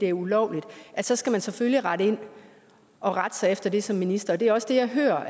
er ulovlig så skal man selvfølgelig rette ind og rette sig efter det som minister det er også det jeg hører